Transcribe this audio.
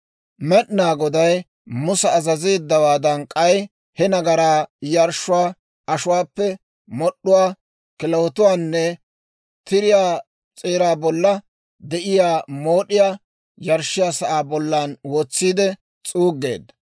Med'inaa Goday Musa azazeeddawaadan, k'ay he nagaraa yarshshuwaa ashuwaappe mod'd'uwaa, kilahotuwaanne tiriyaa s'eeraa bolla de'iyaa mood'iyaa yarshshiyaa sa'aa bollan wotsiide s'uuggeedda.